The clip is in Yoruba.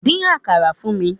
Dín àkàrà fún mi!